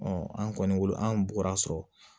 an kɔni an bɔra sɔrɔ